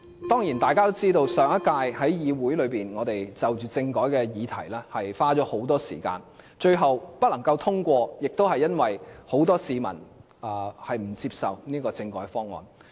當然，大家也知道我們在上屆議會中，就着政改的議題花了很多時間，最後不能通過是因為很多市民不接受該政改方案。